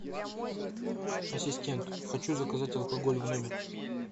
ассистент хочу заказать алкоголь в номер